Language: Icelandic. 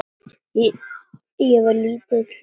Ég var lítill og feitur.